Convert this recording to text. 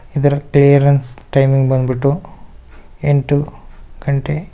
ಇದರ clearance timing ಬಂದ್ಬಿಟ್ಟು ಎಂಟು ಗಂಟೆ.